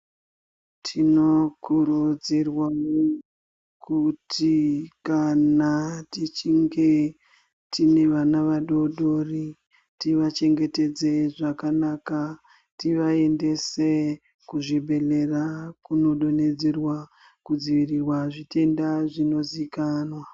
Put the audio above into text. Tino kurudzirwawo kuti kana tichinge tine vana vadodori tiva chengetedze zvakanaka tiva endese ku zvibhedhlera kuno donhedzerwa ku dzivirirwa zvitenda zvino zikanwa.